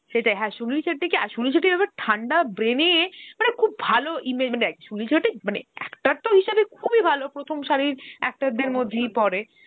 সেটাই হা সুনীল সেটটি কে আর সুনীল সেটটি ঠান্ডা brain এ মানে খুব ভালো ইমা~ দেখ মানে সুনীল সেটটি actor তো খুব এ ভালো, প্রথম সারির actor দের মধ্যেই পড়ে